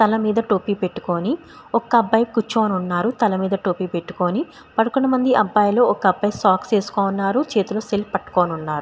తల మీద టోపీ పెట్టుకుని ఒక అబ్బాయి కూర్చొని ఉన్నారు. తల మీద టోపీ పెట్టుకుని పదకొండుమంది అబ్బాయిలు. ఒక అబ్బాయి సాక్స్ వేసుకొని ఉన్నారు. చేతిలోసెల్ పట్టుకుని ఉన్నారు.